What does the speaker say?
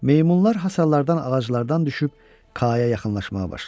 Meymunlar hasarlardan, ağaclardan düşüb Kaya yaxınlaşmağa başladılar.